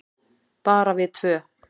Bara við tvö.